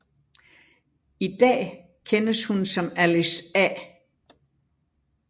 I da kendes hun som Alice A